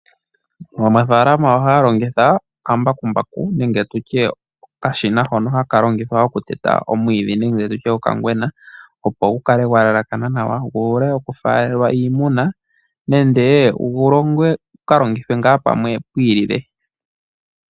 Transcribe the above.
Aanafaalama ohaya longitha okambakumbaku nenge okashina hono haka longithwa okuteta omwiidhi nenge okangwena, opo gu kale gwe elekana nawa nenge gu wape okufaalelwa iimuna nenge gu ka longithwe palwe pwi ilile.